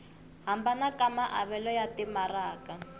hambana ka maavelo ya timaraka